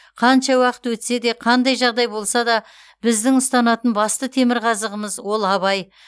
қанша уақыт өтсе де қандай жағдай болса да біздің ұстанатын басты темірқазығымыз ол абай